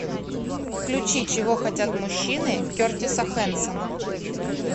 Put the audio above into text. включи чего хотят мужчины кертиса хэнсона